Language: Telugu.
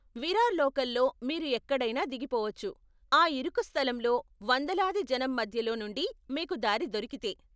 విరార్ లోకల్లో మీరు ఎక్కడైనా దిగిపోవచ్చు, ఆ ఇరుకు స్థలంలో వందలాది జనం మధ్యలో నుండి మీకు దారి దొరికితే.